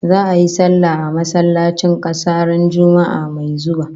Za'a yi sallah a masallacin kasa ran Juma'ah mai zuwa